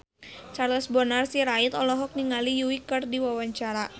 Charles Bonar Sirait olohok ningali Yui keur diwawancara